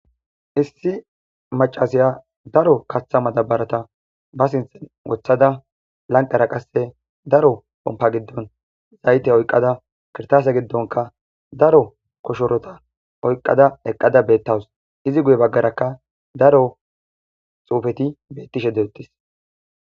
Issi maccasiya daro kaththa madabaratha ba sinththen woththada lanqera qasse daro pompa giddon zaythe oyqqada kirththaase giddonkka daro koshorotha oyqqada eqqada beeththawus; izi guye baggarakka daro xuufethi beththishe dey7eeththes.